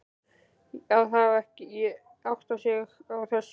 Að hafa ekki áttað sig á þessu!